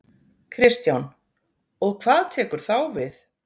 Kristján: Og hvað tekur þá við?